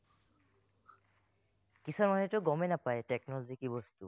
কিছুমান মানুহেতো গমেই নাপায়, technology কি বস্তু